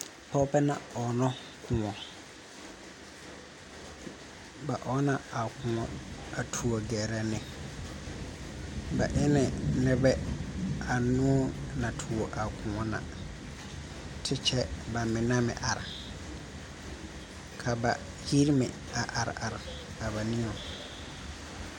Pɔgɔbɛ na ɔgno koɔ. Ba ɔgna a koɔ a tuo gɛrɛ ne. Ba eni nebɛ anuu na tuo a koɔ na. Te kyɛ ba mene meŋ are. Ka ba yir meŋ a are are a ba niŋe